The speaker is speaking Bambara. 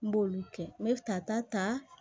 N b'olu kɛ n be tata ta